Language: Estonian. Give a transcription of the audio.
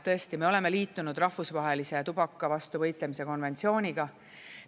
Tõesti, me oleme liitunud rahvusvahelise tubaka vastu võitlemise konventsiooniga.